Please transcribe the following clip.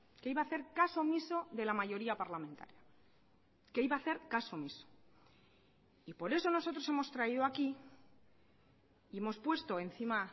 que iba a hacer caso omiso de la mayoría parlamentaria que iba a hacer caso omiso y por eso nosotros hemos traído aquí y hemos puesto encima